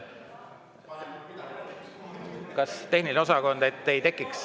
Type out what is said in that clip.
Kas tehniline osakond …